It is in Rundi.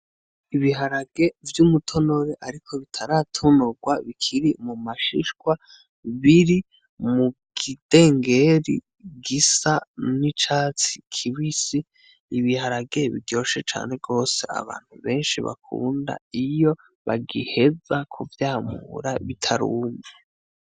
Ibiharage vy'umutonore, ariko bitaratonorwa bikiri mu mashishwa biri mu kidengeri gisa n'icatsi kibisi ibiharage biryoshe cane rwose abantu benshi bakunda iyo bagiheza kuvyamura bitaruma.